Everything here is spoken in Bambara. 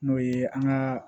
N'o ye an ka